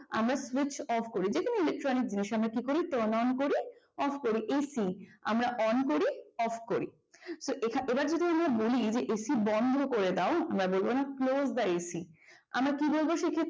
আমরা switch off করি দেখতে ইলেকট্রনিক জিনিস আমরা turn on করি আমরা এসি আমরা on off করি এবার যদি আমরা বলি এসিবন্ধ করে দাও আমরা বলব না close the এসি আমরা কি বলবো সে ক্ষেত্রে